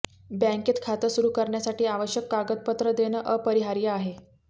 बँकेत खातं सुरू करण्यासाठी आवश्यक कागदपत्र देणं अपरिहार्य आहे